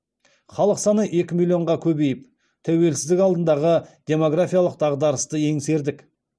халық саны екі миллионға көбейіп тәуелсіздік алдындағы демографиялық дағдарысты еңсердік